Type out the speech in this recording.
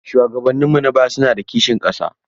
Shuwagabanninmu na baya suna da kishin ƙasa.